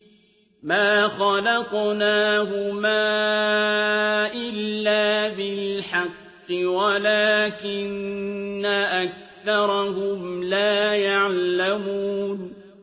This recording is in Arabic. مَا خَلَقْنَاهُمَا إِلَّا بِالْحَقِّ وَلَٰكِنَّ أَكْثَرَهُمْ لَا يَعْلَمُونَ